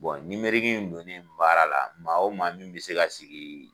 in donnen baara la maa o maa min bɛ se ka sigi.